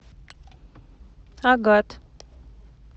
агат